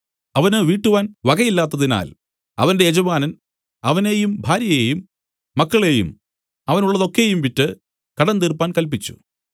അവന് വീട്ടുവാൻ വകയില്ലാത്തതിനാൽ അവന്റെ യജമാനൻ അവനെയും ഭാര്യയെയും മക്കളെയും അവനുള്ളതൊക്കെയും വിറ്റ് കടം തീർപ്പാൻ കല്പിച്ചു